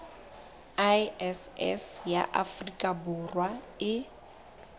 iss ya afrika borwa e